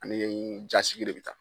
Ani ɲɛɲini jasigi de bɛ ta.